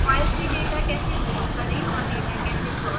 files से data कैसे load करें और डेटा कैसे प्लॉट करें